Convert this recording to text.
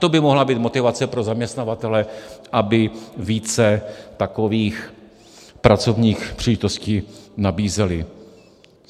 To by mohla být motivace pro zaměstnavatele, aby více takových pracovních příležitostí nabízeli.